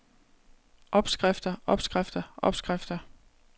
opskrifter opskrifter opskrifter